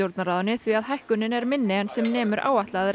stjórnarráðinu því að hækkunin er minni en sem nemur áætlaðri